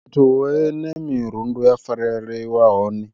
Fhethu hune mirundu ya farelelwa hone